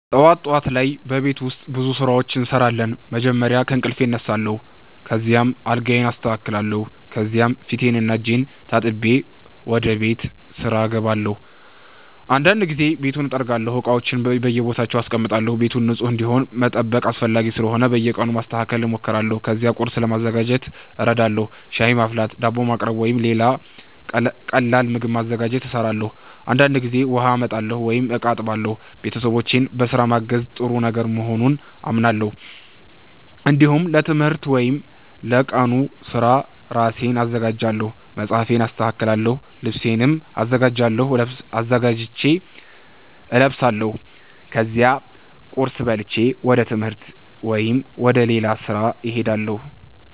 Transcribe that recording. ጠዋት ጠዋት ላይ በቤት ውስጥ ብዙ ስራዎች እሰራለሁ። መጀመሪያ ከእንቅልፌ እነሳለሁ፣ ከዚያም አልጋዬን አስተካክላለሁ። ከዚያ ፊቴንና እጄን ታጥቤ ወደ ቤት ስራ እገባለሁ። አንዳንድ ጊዜ ቤቱን እጠርጋለሁ፣ እቃዎችንም በየቦታቸው አስቀምጣለሁ። ቤቱ ንጹህ እንዲሆን መጠበቅ አስፈላጊ ስለሆነ በየቀኑ ለማስተካከል እሞክራለሁ። ከዚያ ቁርስ ለማዘጋጀት እረዳለሁ። ሻይ ማፍላት፣ ዳቦ ማቅረብ ወይም ሌላ ቀላል ምግብ ማዘጋጀት እሰራለሁ። አንዳንድ ጊዜ ውሃ አመጣለሁ ወይም እቃ አጥባለሁ። ቤተሰቦቼን በስራ ማገዝ ጥሩ ነገር መሆኑን አምናለሁ። እንዲሁም ለትምህርት ወይም ለቀኑ ስራ ራሴን አዘጋጃለሁ። መጽሐፌን አስተካክላለሁ፣ ልብሴንም አዘጋጅቼ እለብሳለሁ። ከዚያ ቁርስ በልቼ ወደ ትምህርት ወይም ወደ ሌላ ስራ እሄዳለሁ።